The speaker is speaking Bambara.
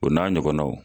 O n'a ɲɔgɔnnaw